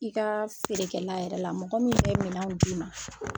I ka feerekɛla yɛrɛ la mɔgɔ min bɛ minɛnw d'i ma